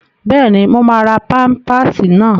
Bẹ́ẹ̀ni, mo máa ra pámpásì náà